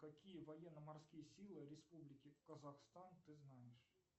какие военно морские силы республики казахстан ты знаешь